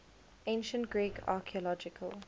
ancient greek archaeological